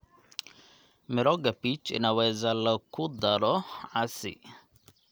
Mirooga peach inaweza loo ku daro casi.